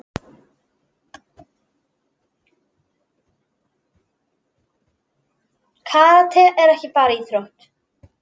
Karate er ekki bara íþrótt.